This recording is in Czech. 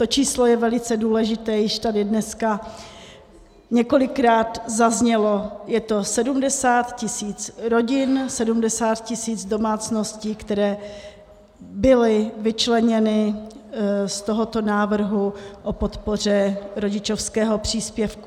To číslo je velice důležité, již tady dneska několikrát zaznělo, je to 70 tisíc rodin, 70 tisíc domácností, které byly vyčleněny z tohoto návrhu o podpoře rodičovského příspěvku.